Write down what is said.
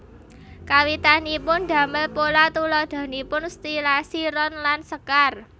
Kawitanipun damel pola tuladhanipun stilasi ron lan sekar